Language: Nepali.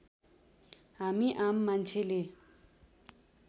हामी आम मान्छेले